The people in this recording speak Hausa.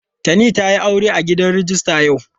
Tani ta yi aure a gidan rijista yau.